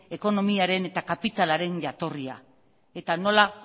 ekonomiaren eta kapitalaren jatorria eta nola